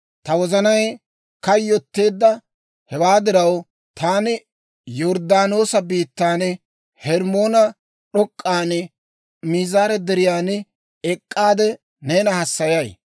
Ta wozanay kayyotteedda; hewaa diraw, taani Yorddaanoosa biittan, Hermmoone d'ok'k'an, Miizaare Deriyan ek'k'aade neena hassayay.